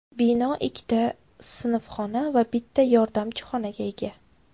Bino ikkita ta sinfxona va bitta yordamchi xonaga ega.